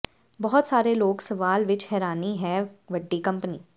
ਬਹੁਤ ਸਾਰੇ ਲੋਕ ਸਵਾਲ ਵਿੱਚ ਹੈਰਾਨੀ ਹੈ ਵੱਡੀ ਕੰਪਨੀ